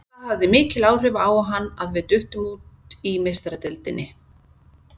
Það hafði mikil áhrif á hann að við duttum út í Meistaradeildinni.